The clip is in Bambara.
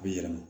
A bi yɛlɛma